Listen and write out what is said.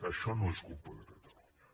això no és culpa de catalunya